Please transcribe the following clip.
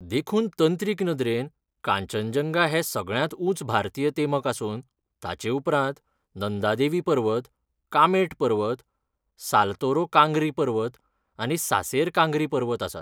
देखून तंत्रीक नदरेन कांचनजंगा हें सगळ्यांत उंच भारतीय तेमक आसून ताचे उपरांत नंदा देवी पर्वत, कामेट पर्वत, सालतोरो कांगरी पर्वत आनी सासेर कांगरी पर्वत आसात.